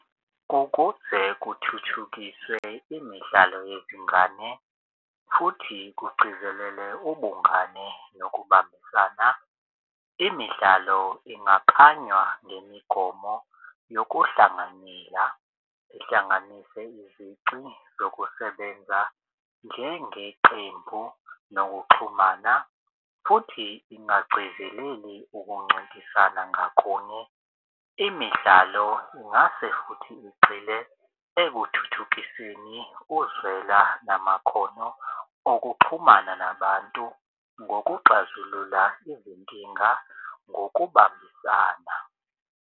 Ukuze kuthuthukiswe imidlalo yezingane futhi kugcizelele ubungane nokubambisana imidlalo ingakanywa ngemigomo yokuhlanganyela. Ihlanganise izici zokusebenza njengeqembu nokuxhumana futhi ingagcizeleli ukuncintisana ngakolunye. Imidlalo ingase futhi igxile ekuthuthukiseni uzwela namakhono okuxhumana nabantu ngokuxazulula izinkinga ngokubambisana.